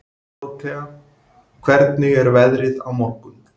Dórótea, hvernig er veðrið á morgun?